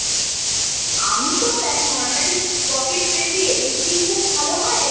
আমি তো দেখ normally পকেট friendly Elle eighteen খুব ভালো হয় আর